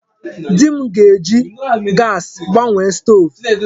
Di m ga-eji gaasị gbanwee stoovu.